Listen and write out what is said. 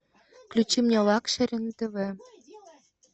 включи мне лакшери на тв